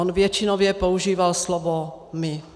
On většinově používal slovo my.